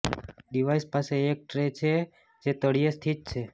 device પાસે એક tray છે જે તળિયે સ્થિત છે